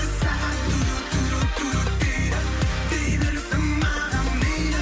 сағат дейді дей берсін маған мейлі